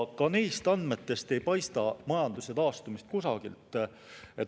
Ka neist andmetest ei paista majanduse taastumist kusagilt.